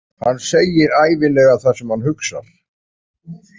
Hann segir ævinlega það sem hann hugsar.